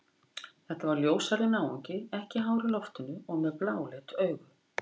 Þetta var ljóshærður náungi, ekki hár í loftinu og með bláleit augu.